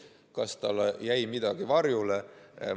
Kas jäi midagi varjule?